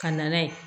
Ka na n'a ye